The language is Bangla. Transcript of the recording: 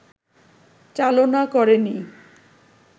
চালনা করেনি